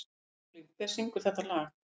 Sigurlín, hver syngur þetta lag?